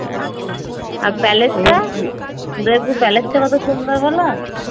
আর palace টা, Udaipur palace টা কত সুন্দর বলো